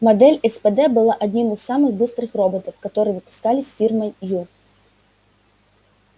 модель спд была одним из самых быстрых роботов которые выпускались фирмой ю